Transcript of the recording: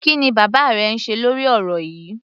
Kí ni bàbá rẹ ń ṣe lórí ọ̀rọ̀ yíì?